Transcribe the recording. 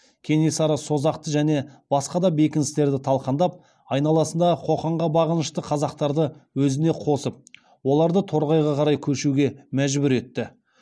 кенесары созақты және басқа да бекіністерді талқандап айналасындағы қоқанға бағынышты қазақтарды өзіне қосып оларды торғайға қарай көшуге мәжбүр етті